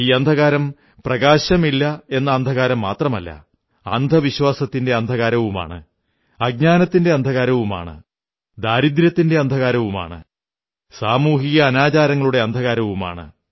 ഈ അന്ധകാരം പ്രകാശമില്ല എന്ന അന്ധകാരം മാത്രമല്ല അന്ധവിശ്വാസത്തിന്റെ അന്ധകാരവുമാണ് അജ്ഞാനത്തിന്റെ അന്ധകാരവുമാണ് ദാരിദ്ര്യത്തിന്റെ അന്ധകാരവുമാണ് സാമൂഹിക അനാചാരങ്ങളുടെ അന്ധകാരവുമാണ്